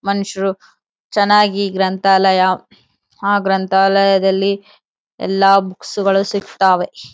ಮನುಷ್ಯರು ಚೆನ್ನಾಗಿ ಗ್ರಂಥಾಲಯ ಆ ಗ್ರಂಥಾಲಯದಲ್ಲಿ ಎಲ್ಲ ಬುಕ್ಸ್ ಗಳು ಸಿಗ್ತವೆ.